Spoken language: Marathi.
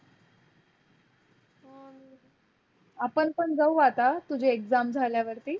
आपण पण जाऊ आत्ता तुझ्या exam झाल्या वरती?